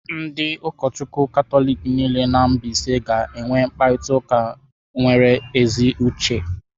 Ndị ụkọchukwu Katọlik niile nọ na mbaise ga-enwe mkparịta ụka nwere ezi uche.